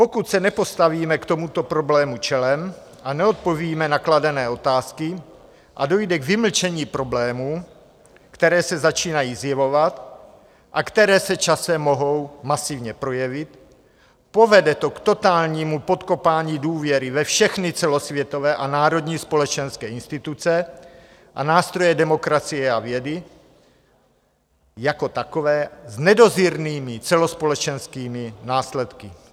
Pokud se nepostavíme k tomuto problému čelem, neodpovíme na kladené otázky a dojde k vymlčení problémů, které se začínají zjevovat a které se časem mohou masivně projevit, povede to k totálnímu podkopání důvěry ve všechny celosvětové a národní společenské instituce a nástroje demokracie a vědy jako takové s nedozírnými celospolečenskými následky.